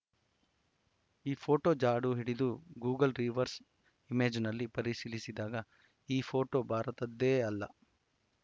ಈ ಫೋಟೋ ಜಾಡುಹಿಡಿದು Google reverse ಇಮೇಜ್‌ನಲ್ಲಿ ಪರಿಶೀಲಿಸಿದಾಗ ಈ ಫೋಟೋ ಭಾರತದ್ದೇ ಅಲ್ಲ